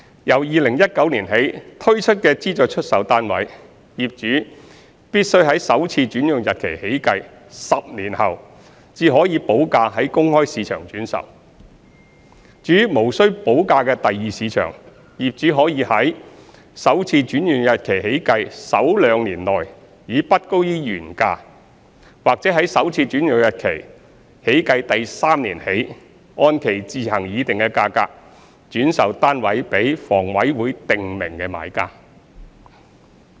由2019年起推出的資助出售單位，業主必須在首次轉讓日期起計10年後，才可補價於公開市場轉售；至於無需補價的第二市場，業主可以於首次轉讓日期起計首兩年內以不高於原價，或在首次轉讓日期起計第三年起，按其自行議定的價格，轉售單位予房委會訂明的買家。